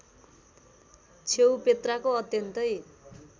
छेउ पेत्राको अत्यन्तै